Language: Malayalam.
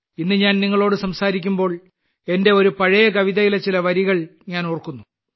ഇന്ന് ഞാൻ നിങ്ങളോട് സംസാരിക്കുമ്പോൾ എന്റെ ഒരു പഴയ കവിതയിലെ ചില വരികൾ ഞാൻ ഓർക്കുന്നു